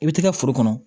I bɛ t'i ka foro kɔnɔ